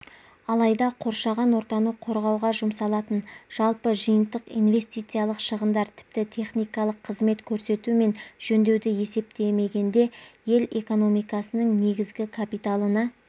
алайда қоршаған ортаны қорғауға жұмсалатын жалпы жиынтық инвестициялық шығындар тіпті техникалық қызмет көрсету мен жөндеуді есептемегенде ел экономикасының негізгі капиталына